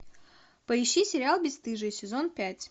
поищи сериал бесстыжие сезон пять